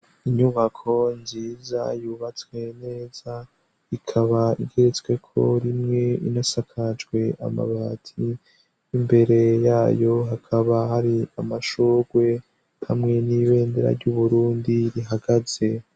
Inyubako nziza yubatswe neza ikaba igetsweko rimwe inasakajwe amabati imbere yayo hakaba hari amashorwe hamwe n'ibendera ry'uburundi rihagaze.